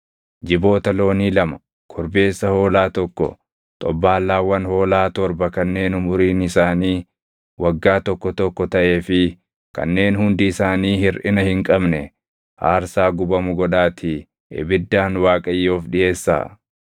Jiboota loonii lama, korbeessa hoolaa tokko, xobbaallaawwan hoolaa torba kanneen umuriin isaanii waggaa tokko tokko taʼee fi kanneen hundi isaanii hirʼina hin qabne aarsaa gubamu godhaatii ibiddaan Waaqayyoof dhiʼeessaa.